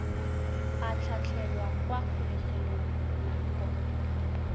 a tlhatlhelwa kwa kgolegelong nako